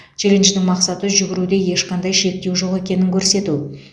челлендждің мақсаты жүгіруде ешқандай шектеу жоқ екенін көрсету